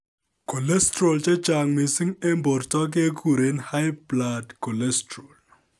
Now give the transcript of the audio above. Cholesteral chechang missing en borto keguren high blood cholesterol